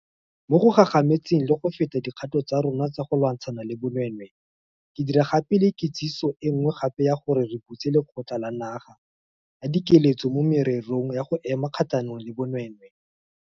Mo go gagamatseng le go feta dikgato tsa rona tsa go lwantshana le bonweenwee, ke dira gape le kitsiso e nngwe gape ya gore re butse Lekgotla la Naga la Dikeletso mo Mererong ya go Ema Kgatlhanong le Bonweenwee.